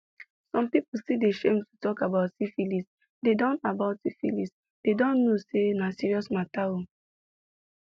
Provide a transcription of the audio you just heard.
some people still dey shame to talk about syphilisthey dont about syphilisthey dont know say na serious mater oo